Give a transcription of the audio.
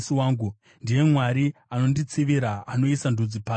Ndiye Mwari anonditsivira, anoisa ndudzi pasi pangu,